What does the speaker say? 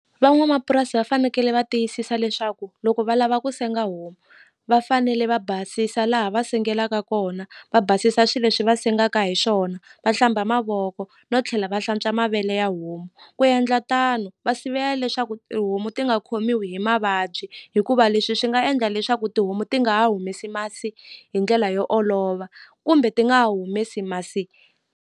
Van'wamapurasi va fanekele va tiyisisa leswaku loko va lava ku senga homu va fanele va basisa laha va sengelaka kona va basisa swi leswi va sengaka hi swona va hlamba mavoko no tlhela va hlantswa mavele ya homu ku endla tano va sivela leswaku tihomu ti nga khomiwi hi mavabyi hikuva leswi swi nga endla leswaku tihomu ti nga ha humesi masi hi ndlela yo olova kumbe ti nga humesi masi.